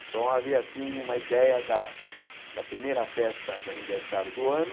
Então, havia assim uma ideia da da primeira festa de aniversário do ano.